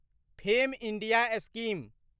fame India scheme